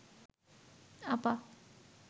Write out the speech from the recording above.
আপা